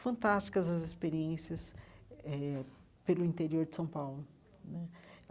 fantásticas as experiências eh pelo interior de São Paulo né.